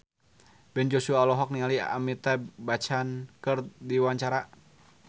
Ben Joshua olohok ningali Amitabh Bachchan keur diwawancara